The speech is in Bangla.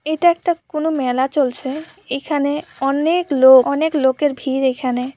এটা একটা কোনো মেলা চলছে এইখানে অনেক লোক অনেক লোকের ভিড় এইখানে।